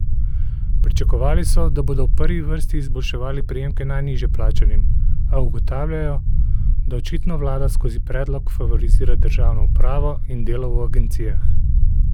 Pričakovali so, da bodo v prvi vrsti izboljševali prejemke najnižje plačanim, a ugotavljajo, da očitno vlada skozi predlog favorizira državno upravo in delo v agencijah.